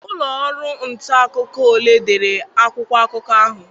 Ụlọ ọrụ nta akụkọ ole dere akwụkwọ akụkọ a?